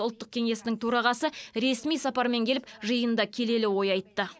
ұлттық кеңесінің төрағасы ресми сапармен келіп жиында келелі ой айтты